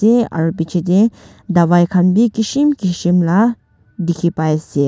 aro bechedae davai khan bhi keshi keshim la dekhe pai ase.